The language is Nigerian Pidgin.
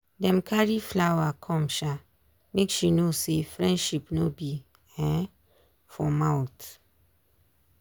dem carry flower come um make she know say friendship no be um for mouth.